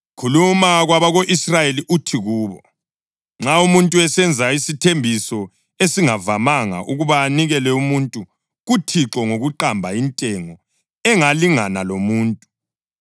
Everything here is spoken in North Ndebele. “Khuluma kwabako-Israyeli uthi kubo: ‘Nxa umuntu esenza isithembiso esingavamanga, ukuba anikele umuntu kuThixo ngokuqamba intengo engalingana lomuntu,